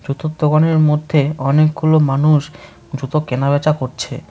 জুতোর দোকানের মধ্যে অনেকগুলো মানুষ জুতো কেনাবেচা করছে।